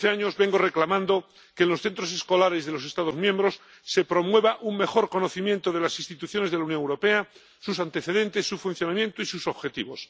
Desde hace años vengo reclamando que en los centros escolares de los Estados miembros se promueva un mejor conocimiento de las instituciones de la Unión Europea, sus antecedentes, su funcionamiento y sus objetivos.